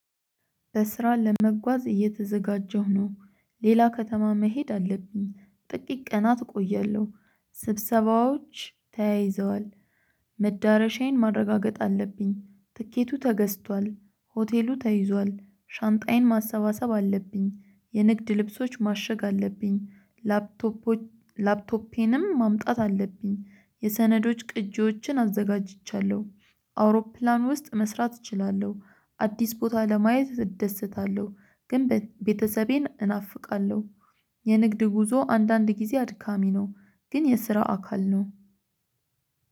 በስራ ለመጓዝ እየተዘጋጀሁ ነው። ሌላ ከተማ መሄድ አለብኝ ጥቂት ቀናት እቆያለሁ። ስብሰባዎች ተያይዘዋል። መዳረሻዬን ማረጋገጥ አለብኝ ትኬቱ ተገዝቷል። ሆቴሉ ተይዟል ሻንጣዬን ማሰባሰብ አለብኝ የንግድ ልብሶች ማሸግ አለብኝ ላፕቶፖች ላፕቶፔንም ማምጣት አለብኝ። የሰነዶች ቅጂዎችን አዘጋጅቻለሁ። አውሮፕላን ውስጥ መስራት እችላለሁ አዲስ ቦታ ለማየት እደሰታለሁ ግን ቤተሰቤን እናፍቃለሁ። የንግድ ጉዞ አንዳንድ ጊዜ አድካሚ ነው። ግን የስራ አካል ነው።